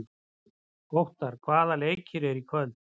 Óttarr, hvaða leikir eru í kvöld?